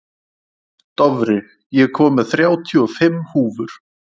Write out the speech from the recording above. Dofri, ég kom með þrjátíu og fimm húfur!